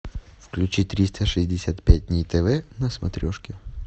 включи триста шестьдесят пять дней тв на смотрешке